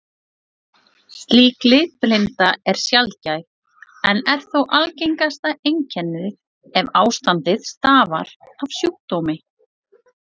Slík litblinda er sjaldgæf en er þó algengasta einkennið ef ástandið stafar af sjúkdómi.